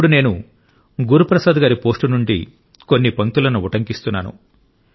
ఇప్పుడు నేను గురుప్రసాద్ గారి పోస్ట్ నుండి కొన్ని పంక్తులను ఉటంకిస్తున్నాను